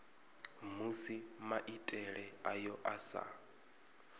musi maitele ayo a sa